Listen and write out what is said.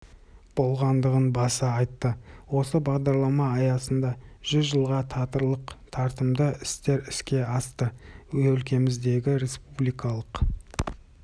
болғандығын баса айтты осы бағдарлама аясында жүз жылға татырлық тартымды істер іске асты өлкеміздегі республикалық